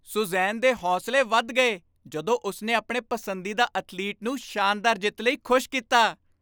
Suzanne ਦੇ ਹੌਸਲੇ ਵਧ ਗਏ ਜਦੋਂ ਉਸਨੇ ਆਪਣੇ ਪਸੰਦੀਦਾ ਅਥਲੀਟ ਨੂੰ ਸ਼ਾਨਦਾਰ ਜਿੱਤ ਲਈ ਖੁਸ਼ ਕੀਤਾ